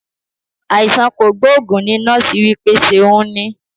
Àìsàn kogboogun ní nọ́ọ̀sì wí pé ṣeun ní